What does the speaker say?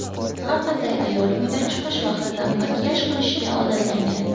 Har qanday ayol uydan chiqish vaqtida makiyaj qilishga odatlangan.